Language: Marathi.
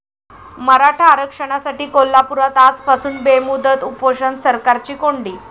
मराठा आरक्षणासाठी कोल्हापुरात आजपासून बेमुदत उपोषण, सरकारची कोंडी